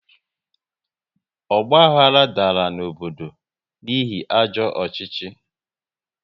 Ọgbahara dara n'obodo n'ihi ajọ ọchịchị